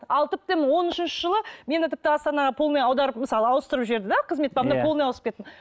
ал тіптен он үшінші жылы мені тіпті астанаға полный аударып мысалы ауыстырып жіберді де қызмет бабында полный ауысып кеттім